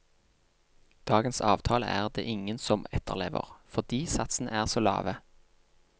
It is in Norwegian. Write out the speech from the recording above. Dagens avtale er det ingen som etterlever, fordi satsene er så lave.